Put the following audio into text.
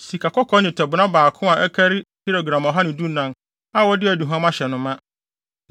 Sikakɔkɔɔ nnwetɛbona baako a ɛkari gram ɔha ne dunan (114) a wɔde aduhuam ahyɛ no ma;